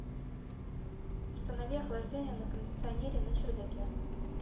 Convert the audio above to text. установи охлаждение на кондиционере на чердаке